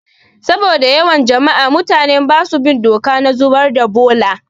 Saboda yawan jama'a, mutane basu bin doka na zubar da bola